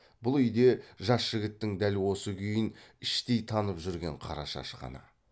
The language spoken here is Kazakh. бұл үйде жас жігіттің дәл осы күйін іштей танып жүрген қарашаш қана